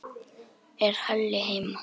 Er Halli heima?